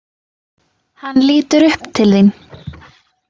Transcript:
Hann lítur upp til þín.